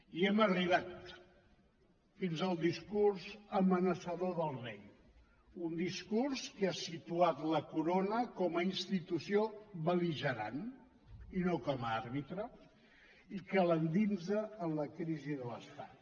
i hem arribat fins al discurs amenaçador del rei un discurs que ha situat la corona com a institució bel·ligerant i no com a àrbitre i que l’endinsa en la crisi de l’estat